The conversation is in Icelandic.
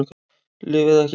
Lyf eða ekki lyf